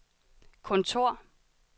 kontor